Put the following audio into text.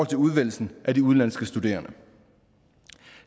til udvælgelsen af de udenlandske studerende